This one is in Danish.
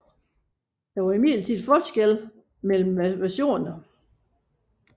Der var imidlertid forskelle mellem versionerne